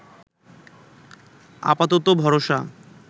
আপাতত ভরসা